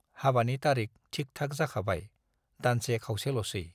हाबानि तारिख थिक-थाक जाखाबाय, दानसे खावसेल'सै।